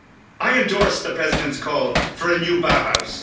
I endorse the President's call for a new Bauhaus.